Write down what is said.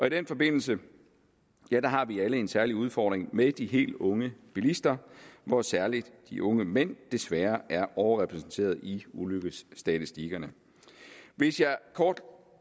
i den forbindelse har vi alle en særlig udfordring med de helt unge bilister hvor særlig de unge mænd desværre er overrepræsenterede i ulykkesstatistikkerne hvis jeg kort